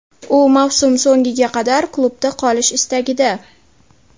U mavsum so‘ngiga qadar klubda qolish istagida.